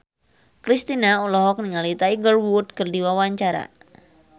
Kristina olohok ningali Tiger Wood keur diwawancara